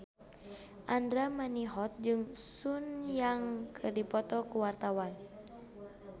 Andra Manihot jeung Sun Yang keur dipoto ku wartawan